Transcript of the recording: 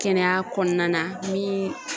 Kɛnɛya kɔnɔna na la min